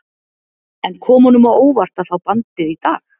En kom honum á óvart að fá bandið í dag?